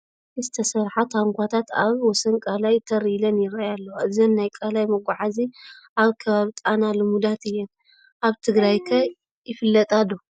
ካብ እንጨይቲ ዝተሰርሓ ታንዃታት ኣብ ወሰን ቃላይ ተር ኢለን ይርአያ ኣለዋ፡፡ እዘን ናይ ቃላይ መጓዓዓዚ ኣብ ከባቢ ጣና ልሙዳት እየን፡፡ ኣብ ትግራይ ከ ይፍለጣ ዶ?